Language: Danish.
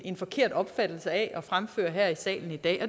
en forkert opfattelse af og fremfører her i salen i dag